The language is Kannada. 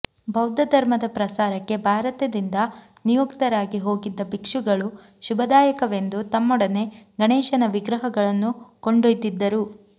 ಬೌದ್ಧ ಧರ್ಮದ ಪ್ರಸಾರಕ್ಕೆ ಭಾರತದಿಂದ ನಿಯುಕ್ತರಾಗಿ ಹೋಗಿದ್ದ ಭಿಕ್ಷುಗಳು ಶುಭದಾಯಕವೆಂದು ತಮ್ಮೊಡನೆ ಗಣೇಶನ ವಿಗ್ರಹಗಳನ್ನೂ ಕೊಂಡೊಯ್ದಿದ್ದರು